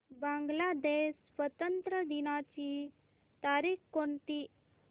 बांग्लादेश स्वातंत्र्य दिनाची तारीख कोणती